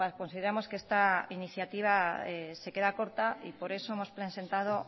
consideramos que esta iniciativa se queda corta y por eso hemos presentado